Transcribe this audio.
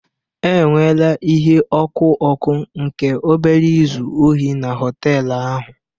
Enweela ihe ọkụ ọkụ nke obere izu ohi na họtel ahụ